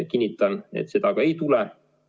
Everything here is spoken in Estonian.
Kinnitan, et seda ka ei tule.